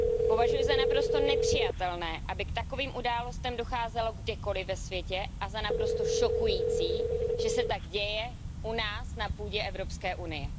Považuji za naprosto nepřijatelné, aby k takovým událostem docházelo kdekoliv ve světě, a za naprosto šokující, že se tak děje u nás, na půdě Evropské unie.